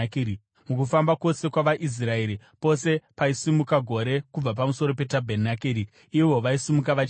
Mukufamba kwose kwavaIsraeri, pose paisimuka gore kubva pamusoro petabhenakeri, ivo vaisimuka vachienda;